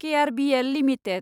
KRBL limited